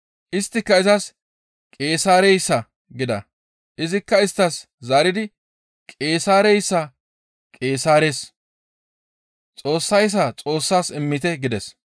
Isttika izas, «Qeesaareyssa» gida. Izikka isttas zaaridi, «Qeesaareyssa Qeesaares, Xoossayssa Xoossas immite» gides.